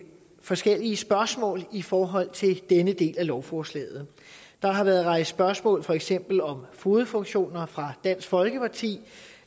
forskellige spørgsmål i forhold til denne del af lovforslaget der har været rejst spørgsmål for eksempel om fogedfunktioner fra dansk folkeparti